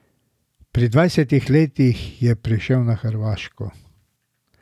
Pri dvajsetih letih je prišel na Hrvaško.